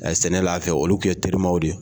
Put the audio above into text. sɛnɛ la anw fɛ yen olu tun ye terimaw de ye.